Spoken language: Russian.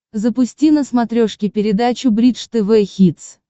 запусти на смотрешке передачу бридж тв хитс